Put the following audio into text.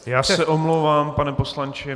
Já se omlouvám, pane poslanče.